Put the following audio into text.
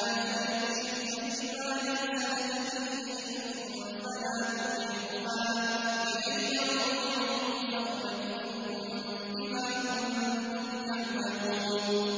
وَإِن جَاهَدَاكَ لِتُشْرِكَ بِي مَا لَيْسَ لَكَ بِهِ عِلْمٌ فَلَا تُطِعْهُمَا ۚ إِلَيَّ مَرْجِعُكُمْ فَأُنَبِّئُكُم بِمَا كُنتُمْ تَعْمَلُونَ